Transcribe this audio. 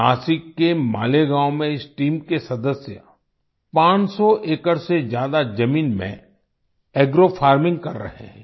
नासिक के मालेगाँव में इस टीम के सदस्य 500 एकड़ से ज्यादा जमीन में एग्रो फार्मिंग कर रहे हैं